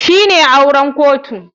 Shine auren kotu.